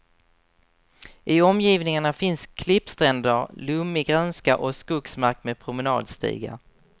I omgivningarna finns klippstränder, lummig grönska och skogsmark med promendstigar.